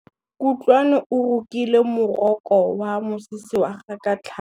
Kutlwanô o rokile morokô wa mosese wa gagwe ka tlhale.